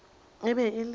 e be e le ka